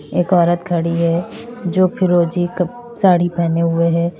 एक औरत खड़ी है जो फिरोजी क क साड़ी पहने हुए हैं।